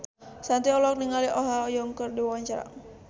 Shanti olohok ningali Oh Ha Young keur diwawancara